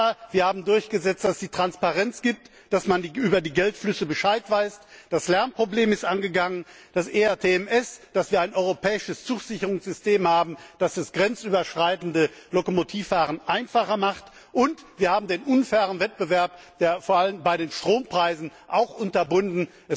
Aber wir haben durchgesetzt, dass es Transparenz gibt, dass man über die Geldflüsse Bescheid weiß, das Lernproblem ist angegangen, das ERTMS, dass wir ein europäisches Zugsicherungssystem haben, das das grenzüberschreitende Lokomotivfahren einfacher macht, und wir haben den unfairen Wettbewerb vor allem auch bei den Strompreisen unterbunden.